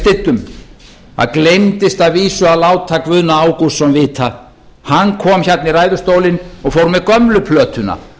styddum það gleymdist að vísu að láta guðna ágústsson vita hann kom hérna í ræðustólinn og fór með gömlu plötuna